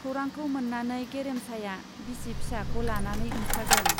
खौरांखौ मोन्नानै गेरेमसाया बिसि फिसाखौ लानानै ओंखारदों।